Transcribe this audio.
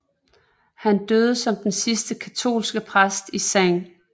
Han døde som den sidste katolske præst i St